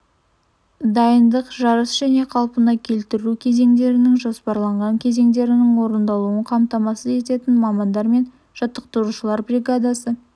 дайындық жарыс және қалпына келтіру кезеңдерінің жоспарланған кезеңдерінің орындалуын қамтамасыз ететін мамандар мен жаттықтырушылар бригадасы